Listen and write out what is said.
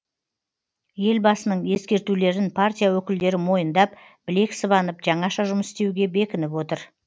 елбасының ескертулерін партия өкілдері мойындап білек сыбанып жаңаша жұмыс істеуге бекініп отыр